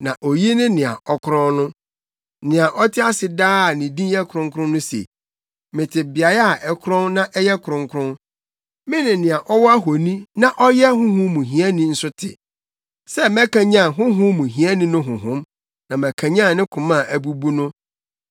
Na oyi ne nea ɔkorɔn no, nea ɔte ase daa a ne din yɛ kronkron no se: “Mete beae a ɛkorɔn na ɛyɛ kronkron, mene nea ɔwɔ ahonu na ɔyɛ honhom mu hiani nso te, sɛ mɛkanyan honhom mu hiani no honhom, na makanyan ne koma a abubu no.